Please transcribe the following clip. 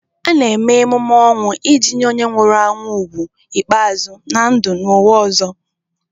A na-eme emume ọnwụ iji nye onye nwụrụ anwụ ugwu ikpeazụ na ndụ n'ụwa ọzọ.